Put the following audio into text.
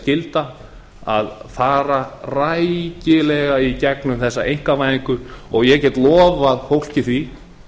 skylda að fara rækilega í gegnum þessa einkavæðingu ég get lofað fólki því